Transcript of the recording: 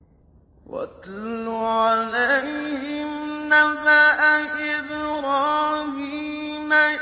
وَاتْلُ عَلَيْهِمْ نَبَأَ إِبْرَاهِيمَ